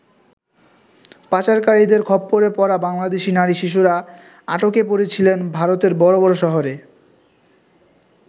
পাচারকারীদের খপ্পরে পড়া বাংলাদেশী নারী শিশুরা আটকে পড়েছিলেন ভারতের বড় বড় শহরে।